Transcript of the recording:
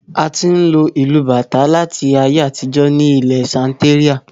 A ti n lo ìlu bàtà láti ayé àtijó ní ilẹ Santeria